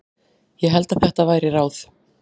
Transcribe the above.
Ég held það væri ráð.